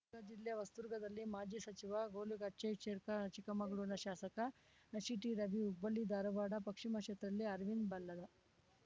ಚಿತ್ರದುರ್ಗ ಜಿಲ್ಲೆ ಹೊಸದುರ್ಗದಲ್ಲಿ ಮಾಜಿ ಸಚಿವ ಗೂಳುಗಟ್ಟಿಶೇರ್ಖಾ ಚಿಕ್ಕಮಗಳೂರಿನ ಶಾಸಕ ಸಿಟಿರವಿ ಹುಬ್ಬಳ್ಳಿಧಾರವಾಡ ಪಕ್ಷಿಮ ಕ್ಷೇತ್ರದಲ್ಲಿ ಅರವಿಂದ್ ಬಲ್ಲದ